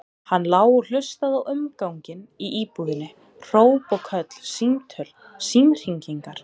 Hann lá og hlustaði á umganginn í íbúðinni, hróp og köll, símtöl, símhringingar.